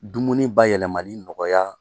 Dumuni bayɛlɛmali nɔgɔya